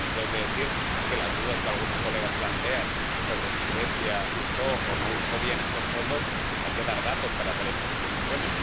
Y también tengo que decir, respecto de las dudas que algunos colegas plantean sobre si Grecia usó o no usó bien estos fondos, que hay que dar datos para hacer estas acusaciones.